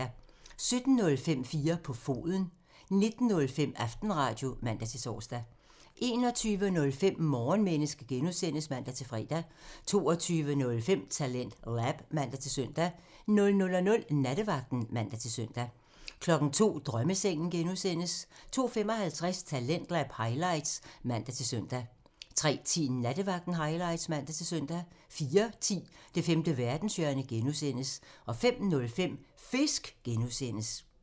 17:05: 4 på foden (man) 19:05: Aftenradio (man-tor) 21:05: Morgenmenneske (G) (man-fre) 22:05: TalentLab (man-søn) 00:00: Nattevagten (man-søn) 02:00: Drømmesengen (G) (man) 02:55: Talentlab highlights (man-søn) 03:10: Nattevagten highlights (man-søn) 04:10: Det femte verdenshjørne (G) (man) 05:05: Fisk (G) (man)